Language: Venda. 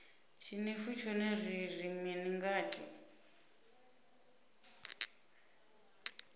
tshinefu tshone ri ri mini ngatsho